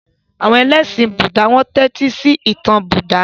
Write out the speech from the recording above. Àwọn ẹlẹ́ṣin Búúdà náà tẹ́tísí ìtàn Buddha.